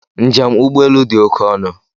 Njem ụgbọ elu dị oke ọnụ.